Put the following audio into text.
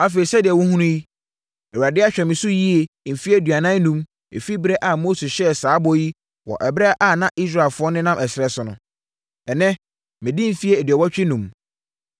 “Afei, sɛdeɛ wohunu yi, Awurade ahwɛ me so yie mfeɛ aduanan enum firi ɛberɛ a Mose hyɛɛ saa bɔ yi wɔ ɛberɛ a na Israelfoɔ nenam ɛserɛ so no. Ɛnnɛ madi mfeɛ aduɔwɔtwe enum.